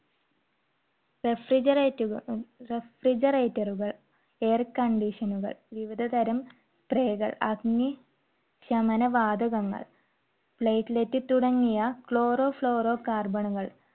refrigerat~refrigerator റുകൾ air condition കൾ വിവിധതരം അഗ്നി ശമന വാതകങ്ങൾ platelet തുടങ്ങിയ cloroflurocarbon കൾ